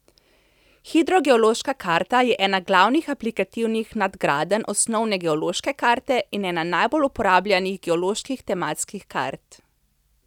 Hidrogeološka karta je ena glavnih aplikativnih nadgradenj osnovne geološke karte in ena najbolj uporabljanih geoloških tematskih kart.